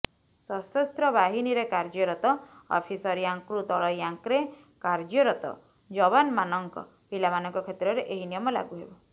ସଶସ୍ତ୍ର ବାହିନୀରେ କାର୍ଯ୍ୟରତ ଅଫିସର ର୍ୟାଙ୍କ୍ରୁ ତଳ ର୍ୟାଙ୍କ୍ରେ କାର୍ଯ୍ୟରତ ଯବାନ୍ମାନଙ୍କ ପିଲାମାନଙ୍କ କ୍ଷେତ୍ରରେ ଏହି ନିୟମ ଲାଗୁହେବ